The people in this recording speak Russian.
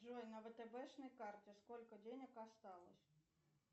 джой на вэтэбэшной карте сколько денег осталось